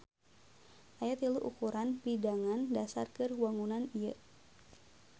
Aya tilu ukuran pidangan dasar keur wangunan ieu